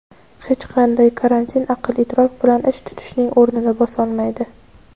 Hech qanday karantin aql-idrok bilan ish tutishning o‘rnini bosolmaydi.